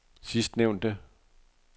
sidstnævnte